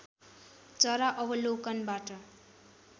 चरा अवलोकनबाट